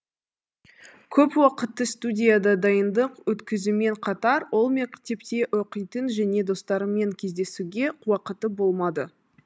көп уақытты студияда дайындық өткізуімен қатар ол мектепте оқитын және достарымен кездесуге уақыты болмады